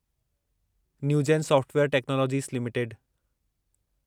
Newgen software technologies limited